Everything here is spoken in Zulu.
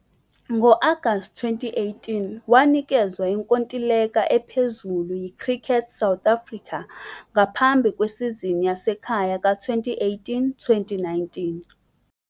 Ngo-Agasti 2018, wanikezwa inkontileka ephezulu yiCricket South Africa ngaphambi kwesizini yasekhaya ka-2018-19.